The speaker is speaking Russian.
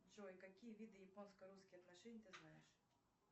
джой какие виды японско русские отношения ты знаешь